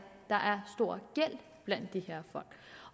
der er stor gæld blandt de her folk